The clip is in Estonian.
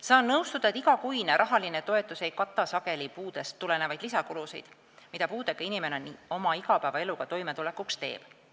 Saan nõustuda, et igakuine rahaline toetus ei kata sageli puudest tulenevaid lisakulusid, mida puudega inimene igapäevaeluga toimetulekuks teeb.